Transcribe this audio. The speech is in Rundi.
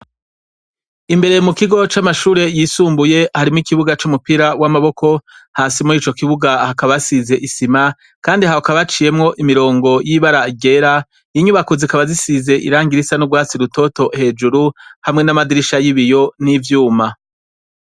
Imbere mu kigo c'amashure yisumbuye harimo ikibuga c'umupira w'amaboko ,hasi mur'ico kibuga hakaba hasize isima kandi hakaba haciyemwo imirongo y'ibara ryera iyinyubako zikaba zisize irangirisa n' rwasi rutoto hejuru hamwe n'amadirisha y'ibiyo n'ivyuma.